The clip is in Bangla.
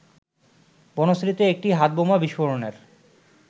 বনশ্রীতে একটি হাতবোমা বিস্ফোরণের